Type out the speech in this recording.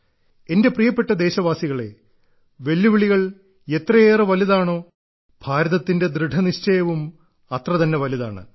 എന്റെ പ്രിയപ്പെട്ട ദേശവാസികളെ വെല്ലുവിളികൾ എത്രയേറെ വലുതാണോ ഭാരതത്തിന്റെ ദൃഢനിശ്ചയവും അത്രതന്നെ വലുതാണ്